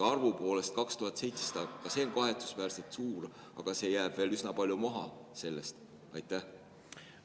Arvu poolest on 2700 ka kahetsusväärselt suur, aga see jääb veel üsna palju maha.